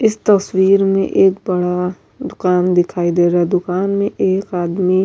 اس تشویر مے ایک بڑا دکان دکھائی دے رہا ہے۔ دکان مے ایک آدمی --